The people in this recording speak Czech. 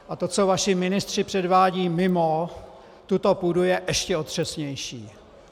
A to, co vaši ministři předvádějí mimo tuto půdu, je ještě otřesnější.